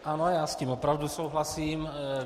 Ano, já s tím opravdu souhlasím.